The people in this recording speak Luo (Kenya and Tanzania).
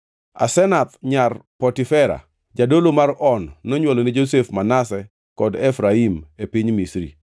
Asenath nyar Potifera, jadolo mar On nonywolone Josef Manase kod Efraim e piny Misri.